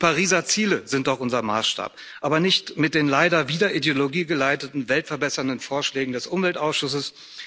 Die Pariser Ziele sind doch unser Maßstab, aber nicht mit den leider wieder ideologiegeleiteten weltverbessernden Vorschlägen des Umweltausschusses.